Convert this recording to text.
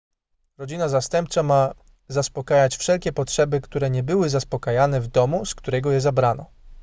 rodzina zastępcza ma zaspokajać wszelkie potrzeby które nie były zaspokajane w domu z którego je zabrano